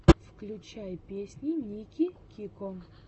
включай песни ники кико